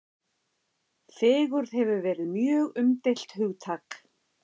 Fegurð hefur verið mjög umdeilt hugtak.